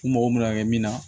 U mago bɛna kɛ min na